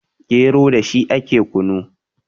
gero da shi ake kunu